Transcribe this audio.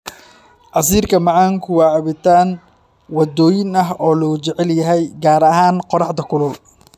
Casiirka macaanku waa cabitaan waddooyin ah oo aad loo jecel yahay, gaar ahaan qorraxda kulul.